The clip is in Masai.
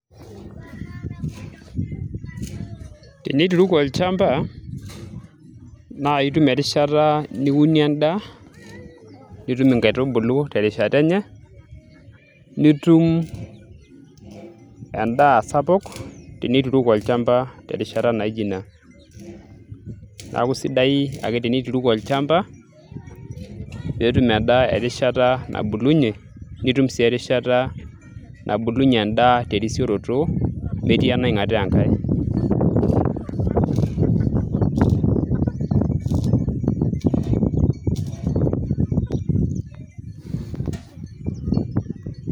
tenituruku olchamba naa itum erishata niunie endaa nitum inkaitubulu terishata enye nitum endaa sapuk tenituruku olchamba terishata naijo ina neeku sidai ake tenituruku olchamba peetum endaa erishata nabulunyie nitum sii erishata nabulunyie endaa terisioroto metii enaing'ataa enkay.